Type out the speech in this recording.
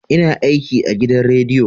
ina aiki agidan rediyo